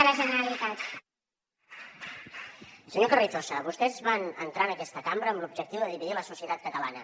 senyor carrizosa vostès van entrar en aquesta cambra amb l’objectiu de dividir la societat catalana